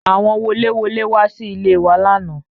Àwọn woléwolé wá sí ilé e wa lánàá